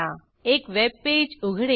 एक वेबपेज उघडेल